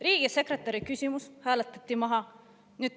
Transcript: Riigisekretäri küsimus hääletati maha.